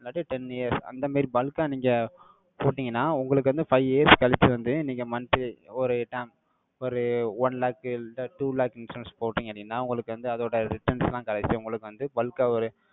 இல்லாட்டி ten years அந்த மாதிரி bulk ஆ நீங்க, போட்டீங்கன்னா, உங்களுக்கு வந்து, five years கழிச்சு வந்து, நீங்க monthly, ஒரு டா~ ஒரு one lakh இல்லை two lakh insurance போட்டீங்க அப்படின்னா, உங்களுக்கு வந்து, அதோட returns எல்லாம் கிடைச்சு, உங்களுக்கு வந்து, bulk ஆ ஒரு,